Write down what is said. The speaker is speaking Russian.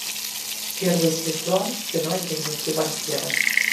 первый сезон кино дневники вампира